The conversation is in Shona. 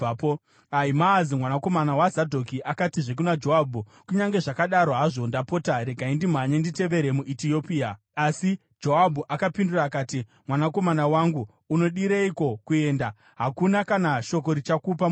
Ahimaazi mwanakomana waZadhoki akatizve kuna Joabhu, “Kunyange zvakadaro hazvo, ndapota regai ndimhanye nditevere muEtiopia.” Asi Joabhu akapindura akati, “Mwanakomana wangu, unodireiko kuenda? Hauna kana shoko richakupa mubayiro.”